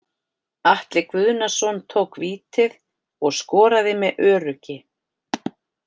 Atli Guðnason tók vítið og skoraði með öruggi.